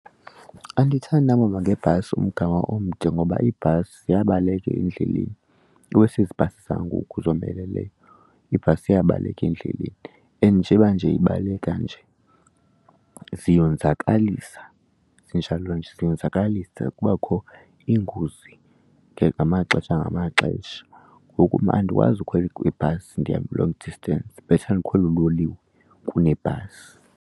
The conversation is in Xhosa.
Andithandi uhamba ngebhasi umgama omde ngoba ibhasi ziyabaleka endleleni iwesi ezi bhasi zangoku zomeleleyo, ibhasi iyabaleka endleleni. And njeba nje ibaleka nje ziyonzakalisa zinjalo nje, ziyonzakalisa, kubakho iingozi ngamaxesha ngamaxesha. Ngoku mna andikwazi ukhwela kwibhasi ndihambe i-long distance, better ndikhwele uloliwe kunebhasi.